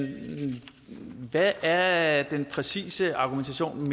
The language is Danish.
hvad er den præcise argumentation